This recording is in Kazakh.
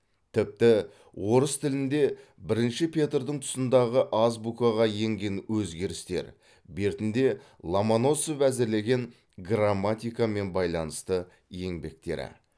тіпті орыс тілінде бірінші петрдің тұсындағы азбукаға енген өзгерістер бертінде ломоносов әзірлеген грамматикамен байланысты еңбектері